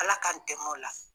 ALA k'an dɛmɛ o la.